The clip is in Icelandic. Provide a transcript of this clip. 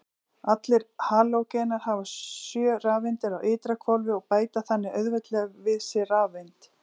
Allir halógenar hafa sjö rafeindir á ytra hvolfi og bæta þannig auðveldlega við sig rafeind.